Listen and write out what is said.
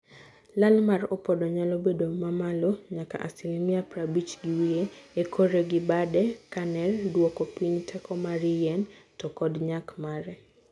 Lal mar opodo nyalo bedo mamalo: nyaka asilimi prabich gi wiye. E kore gi bade, caner duoko piny teko mar yien to kod nyak mare.